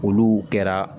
Olu kɛra